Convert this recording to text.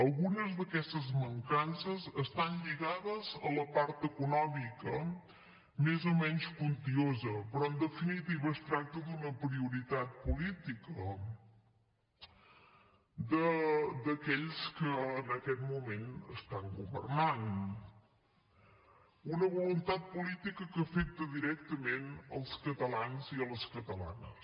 algunes d’aquestes mancances estan lligades a la part econòmica més o menys quantiosa però en definitiva es tracta d’una prioritat política d’aquells que en aquest moment estan governant una voluntat política que afecta directament els catalans i les catalanes